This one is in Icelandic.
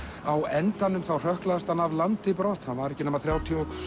á endanum hrökklast hann af landi brott hann var ekki nema þrjátíu og